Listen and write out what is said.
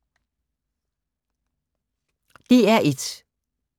DR1